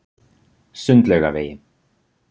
Sundlaugavegi